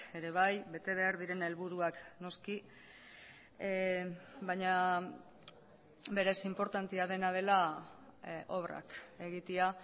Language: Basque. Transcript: ere bai bete behar diren helburuak noski baina berez inportantea dena dela obrak egitea